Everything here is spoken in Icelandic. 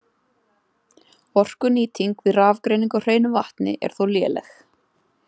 Orkunýting við rafgreiningu á hreinu vatni er þó léleg.